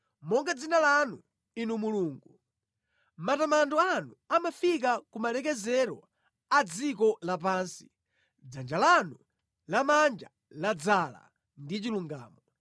Monga dzina lanu, Inu Mulungu, matamando anu amafika ku malekezero a dziko lapansi dzanja lanu lamanja ladzaza ndi chilungamo.